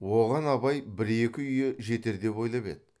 оған абай бір екі үйі жетер деп ойлап еді